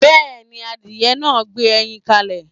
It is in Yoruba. Yes, the chickedn laid eggs